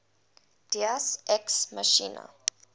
deus ex machina